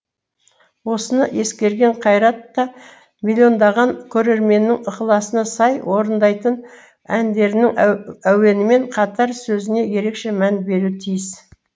осыны ескерген қайрат та миллиондаған көрерменнің ықыласына сай орындайтын әндерінің әуенімен қатар сөзіне ерекше мән беруі тиіс